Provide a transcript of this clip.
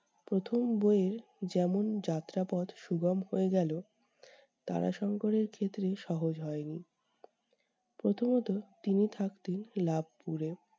প্রথম বইয়ের যেমন যাত্রাপথ সুগম হয়ে গেল, তারাশঙ্কর এর ক্ষেত্রে সহজ হয় নি। প্রথমত তিনি থাকতেন লাবপুরে।